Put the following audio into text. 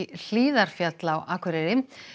Hlíðarfjall á Akureyri